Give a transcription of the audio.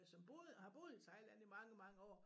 Som boede har boet i Thailand i mange mange år